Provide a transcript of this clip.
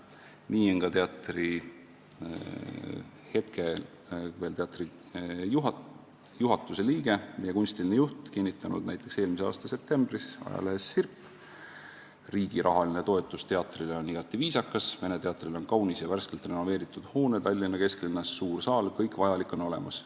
Nii on ka hetkel veel teatri juhatuse liige ja kunstiline juht kinnitanud näiteks eelmise aasta septembris ajalehes Sirp: "Riigi rahaline toetus teatrile on igati viisakas, Vene teatril on kaunis ja värskelt renoveeritud hoone Tallinna kesklinnas, suur saal – kõik vajalik on olemas.